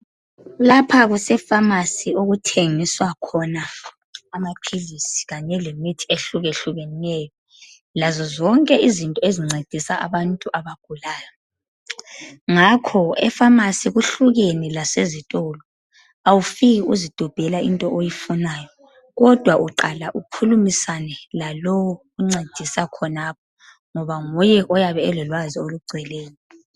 Lapha kusefamasi okuthengiswa khona amaphilisi kanye lemithi ehlukahlukeneyo lazo zonke izinto ezincedisa abantu abagulayo ngakho efamasi kuhlukene lasesitolo awufiki uzidobhela into oyifunayo kodwa uqala ukhulumisane lalowu oncedisa khonapho ngoba nguye oyabe elolwazi olugcweleyo.